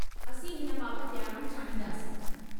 असीं हिन बाबति ॼाणण चाहींदासीं।